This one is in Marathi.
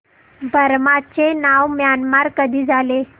बर्मा चे नाव म्यानमार कधी झाले